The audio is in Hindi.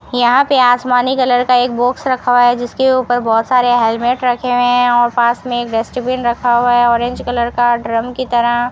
यहां पे आसमानी कलर का एक बॉक्स रखा है जिसके ऊपर बहुत सारे हेलमेट रखे हुए हैं और पास में एक डस्टबिन रखा हुआ है ऑरेंज कलर का ड्रम की तरह --